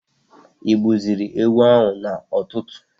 igbuziri ewu ahụ na ụtụtụ?